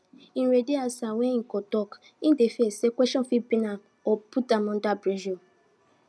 him ready answers wen him go tok hin dey fear say questions fit pin am or put am under pressure